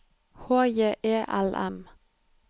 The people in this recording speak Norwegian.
H J E L M